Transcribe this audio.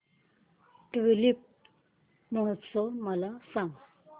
tulip महोत्सव मला सांग